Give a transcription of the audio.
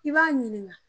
I b'a ɲininka